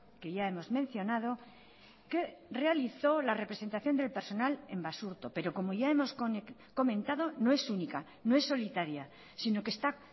que ya hemos mencionado que realizó la representación del personal en basurto pero como ya hemos comentado no es única no es solitaria sino que está